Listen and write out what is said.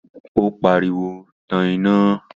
ó pariwo, 'Tan iná'